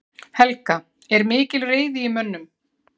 Helga: Er mikil reiði í mönnum?